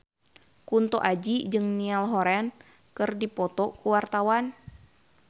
Kunto Aji jeung Niall Horran keur dipoto ku wartawan